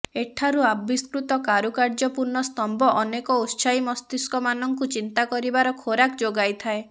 ଏଠାରୁ ଆବିଷ୍କୃତ କାରୁକାର୍ଯ୍ୟପୂର୍ଣ୍ଣ ସ୍ତମ୍ଭ ଅନେକ ଉତ୍ସାହୀ ମସ୍ତିସ୍କ ମାନଙ୍କୁ ଚିନ୍ତାକରିବାର ଖୋରାକ ଯୋଗାଇଥାଏ